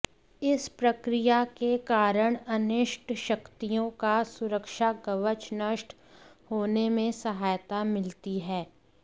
इस प्रक्रियाके कारण अनिष्ट शक्तियोंका सुरक्षाकवच नष्ट होनेमें सहायता मिलती है